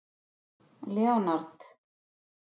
Leonard